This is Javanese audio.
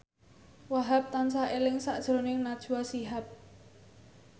Wahhab tansah eling sakjroning Najwa Shihab